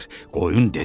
Qoyun dedi: